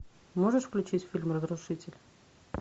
можешь включить фильм разрушитель